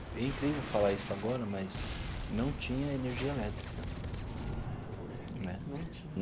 É incrível falar isso agora, mas não tinha energia elétrica né. Não tinha.